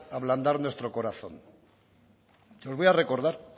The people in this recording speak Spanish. ablandar nuestro corazón se los voy a recordar